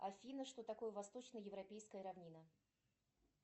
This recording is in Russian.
афина что такое восточно европейская равнина